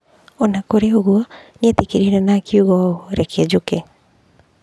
O na kũrĩ ũguo, nĩ eyĩtĩkirie na akiuga ũũ: "Reke njoke".